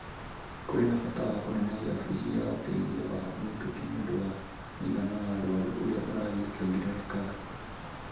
Kũrĩ na bata wa kũnenehia wabici ya ũteithio wa mĩtũkĩ nĩ ũndũ wa mũigana wa arũaru ũrĩa ũrathiĩ ũkĩongererekaga.